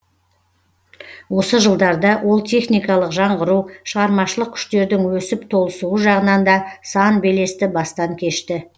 осы жылдарда ол техникалық жаңғыру шығармашылық күштердің өсіп толысуы жағынан да сан белесті бастан кешті